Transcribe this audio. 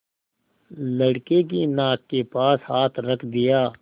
लड़के की नाक के पास हाथ रख दिया